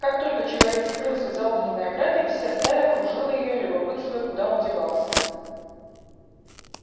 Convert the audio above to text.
как только человек скрылся за огненной оградой вся стая окружила её любопытствуя куда он девался